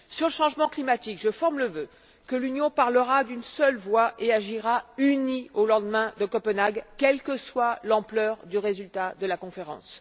Sur le changement climatique, je forme le vœu que l'Union parlera d'une seule voix et agira unie au lendemain de Copenhague, quelle que soit l'ampleur du résultat de la conférence.